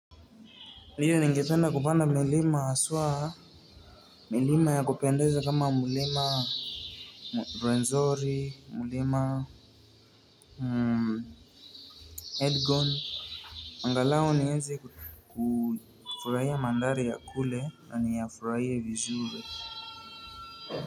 Ndiyo nigefenda kupanda milima haswa milima ya kupendeza kama milima Ruwenzori, mlima Elgon. Angalao nieze kufurahi mandari ya kule na ni yafurahie vizuri.